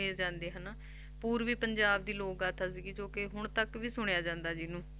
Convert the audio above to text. ਸੁਣੇ ਜਾਂਦੇ ਹਨਾ, ਪੂਰਬੀ ਪੰਜਾਬ ਦੀ ਲੋਕ ਗਾਥਾ ਸੀਗੀ ਜੋ ਕਿ ਹੁਣ ਤੱਕ ਵੀ ਸੁਣਿਆ ਜਾਂਦਾ ਜਿਹਨੂੰ